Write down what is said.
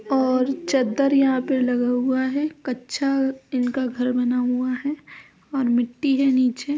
और चद्दर यहाँ पर लगा हुआ है कच्चा इनका घर बना हुआ है और मिट्टी है नीचे --